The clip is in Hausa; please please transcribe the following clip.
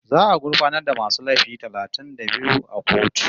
Za'a gurfanar da masu laifi talatin da biyu a kotu